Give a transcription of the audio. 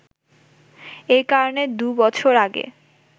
এ কারণে দু’বছর আগে